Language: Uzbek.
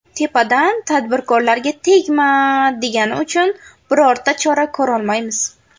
Tepadan ‘tadbirkorlarga tegma’ degani uchun birorta chora ko‘rolmaymiz.